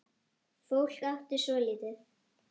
Fólk átti svo lítið.